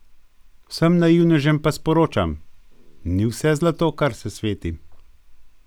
Vsem naivnežem pa sporočam: 'Ni vse zlato kar se sveti'!